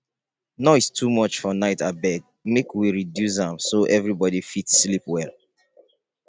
noise too much for night abeg make we reduce am so everybody fit sleep well.